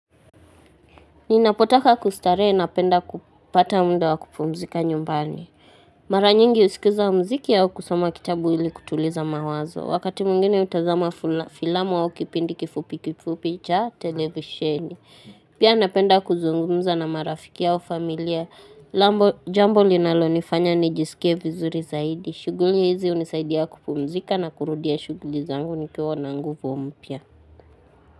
Ninapotaka kustarehe napenda kupata muda wa kupumzika nyumbani. Mara nyingi husikiza mziki au kusoma kitabu ili kutuliza mawazo. Wakati mwingine utazama fula filamu au kipindi kifupi kifupi cha televisheni. Pia napenda kuzungumza na marafiki au familia. Lambo jambo linalo nifanya nijisikie vizuri zaidi. Shuguli hizi hunisaidia kupumzika na kurudia shuguli zangu nikiwa na nguvu mpya.